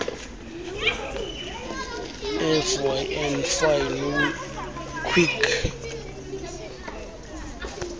fyn fine kweek